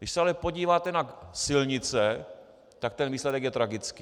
Když se ale podíváte na silnice, tak ten výsledek je tragický.